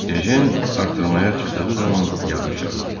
Ejen artırmaya çıxdığı zaman yağış yağırdı.